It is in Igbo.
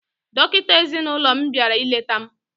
Dọkịta ezinaụlọ m bịara ileta m